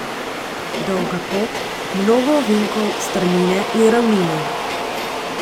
Dolga pot, mnogo ovinkov, strmine in ravnine.